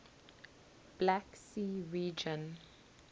black sea region